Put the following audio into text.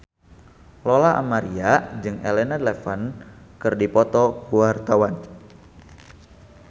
Lola Amaria jeung Elena Levon keur dipoto ku wartawan